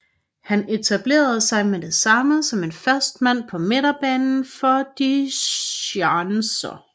Han etablerede sig med det samme som en fast mand på midtbanen for Die Schanzer